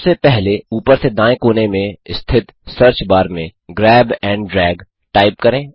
सबसे पहले ऊपर से दाएँ कोने में स्थित सर्च बार में ग्रैब एंड ड्रैग टाइप करें